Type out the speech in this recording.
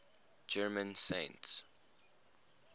german saints